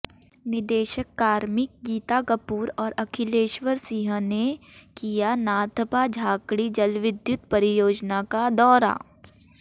निदेशक कार्मिक गीता कपूर और अखिलेश्वर सिंह ने किया नाथपा झाकड़ी जलविद्युत परियोजना का दौरा